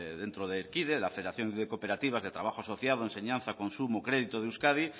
dentro de erkide la federación de cooperativas de trabajo asociado consumo y crédito de euskadi